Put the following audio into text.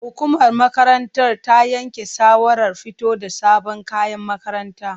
Hukumar makarantar ta yanke shawarar fito da sabon kayan makaranta.